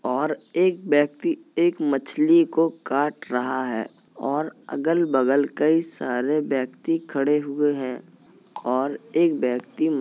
और एक व्यक्ति एक मछली को काट रहा है और अगल बगल कई सारे व्यक्ति खड़े हुए हैं और एक व्यक्ति --